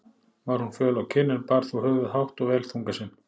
Var hún föl á kinn, en bar þó höfuð hátt og vel þunga sinn.